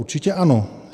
- Určitě ano.